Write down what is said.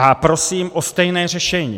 A prosím o stejné řešení.